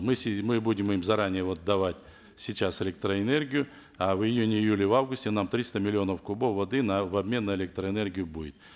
мы мы будем им заранее вот давать сейчас электроэнергию а в июне июле августе нам триста миллионов кубов воды нам в обмен на электроэнергию будет